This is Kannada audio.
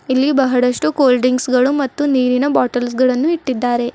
ಇಲ್ಲಿ ಬಹಳಷ್ಟು ಕೂಲ್ ಡ್ರಿಂಕ್ಸ್ ಗಳು ಮತ್ತು ನೀರಿನ ಬಾಟಲ್ಸ್ ಗಳನ್ನು ಇಟ್ಟಿದ್ದಾರೆ.